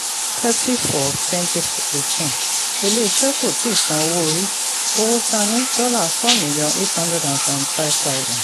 thirty four twenty eighteen ilé-iṣẹ̀ kò tíì san owó orí; owó tà ni dollar four million eight hundred and seventy five thousand.